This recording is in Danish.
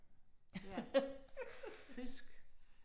Ja, fisk